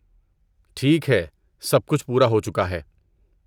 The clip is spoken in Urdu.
ٹھیک ہے، سب کچھ پورا ہو چکا ہے۔